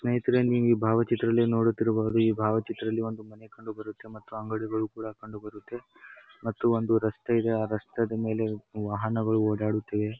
ಸ್ನೇಹಿತರೆ ನೀವ್ ಈ ಭಾವಚಿತ್ರದಲ್ಲಿ ನೋಡುತ್ತಿರಬಹುದು ಈ ಭಾವಚಿತ್ರದಲ್ಲಿ ಒಂದು ಮನೆ ಕಂಡು ಬರುತ್ತೆ ಮತ್ತೆ ಅಂಗಡಿಗಳು ಕೂಡ ಕಂಡು ಬರುತ್ತೆ ಮತ್ತು ಒಂದು ರಸ್ತೆ ಇದೆ ರಸ್ತೆದ್ ಮೇಲೆ ವಾಹನಗಳು ಓಡಾಡುತ್ತದೆ.